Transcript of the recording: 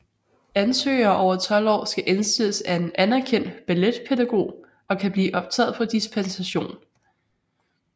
Ansøgere over 12 år skal indstilles af en anerkendt balletpædagog og kan blive optaget på dispensation